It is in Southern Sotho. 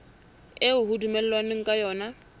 eo ho dumellanweng ka yona